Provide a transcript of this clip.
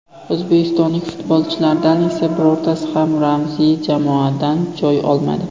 O‘zbekistonlik futbolchilardan esa birortasi ham ramziy jamoadan joy olmadi.